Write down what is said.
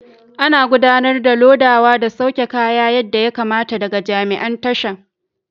Ana gudanar da lodawa da sauke kaya yadda ya kamata daga jami'an tashar.